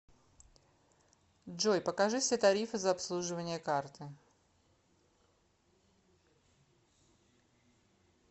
джой покажи все тарифы за обслуживание карты